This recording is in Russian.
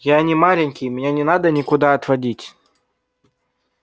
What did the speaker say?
я не маленький меня не надо никуда отводить